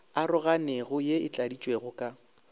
aroganego ye e tladitšwego ka